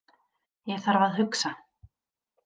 Ég þarf að hugsa.